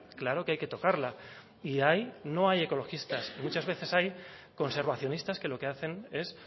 claro que hay que tocarla y ahí no hay ecologistas muchas veces hay conservacionistas que lo que hacen es